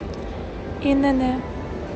инн